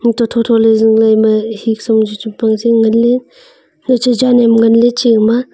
antoh tho tho le zingley ima heka sa am chu chempang zingley ngan ley.